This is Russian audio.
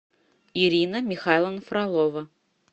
ирина михайловна фролова